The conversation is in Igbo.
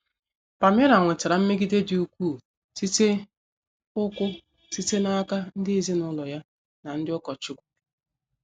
Palmira nwetara mmegide dị ukwuu site ukwuu site n’aka ndị ezinụlọ ya na ndị ụkọchukwu.